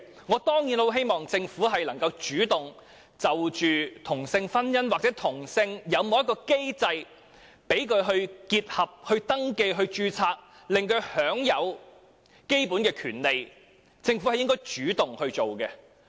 我當然希望政府會主動就同性婚姻提供一項機制，讓他們可以結合，辦理婚姻登記或註冊，使他們也享有基本權利，這是政府應該主動做的事情。